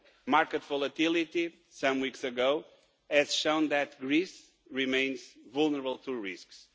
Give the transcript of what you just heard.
Market volatility some weeks ago has shown that Greece remains vulnerable to risks.